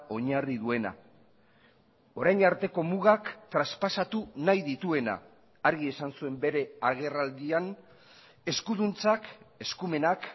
oinarri duena orain arteko mugak traspasatu nahi dituena argi esan zuen bere agerraldian eskuduntzak eskumenak